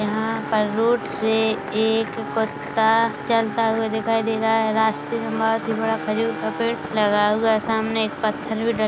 यहाँ पर रोड से एक कुत्ता चलता हुआ दिखाई दे रहा है रास्ते में बहुत ही बड़ा खजूर का पेड़ लगाया हुआ है सामने एक पत्थर भी--